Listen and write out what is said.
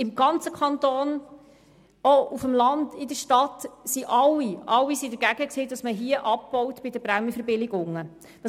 Im ganzen Kanton, sowohl auf dem Land als auch in der Stadt, waren alle dagegen, bei den Prämienverbilligungen abzubauen.